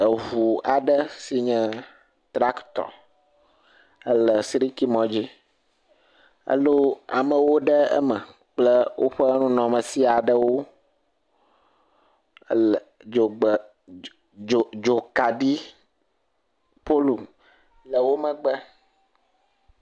Eŋu aɖe si nye tractor ele siriki mɔ dzi elɔ amewo ɖe eme kple woƒe nunɔamasi aɖewo, ele dzogbe..dz…dz…dzokaɖi polu le wo megbe.